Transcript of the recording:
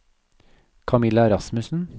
Camilla Rasmussen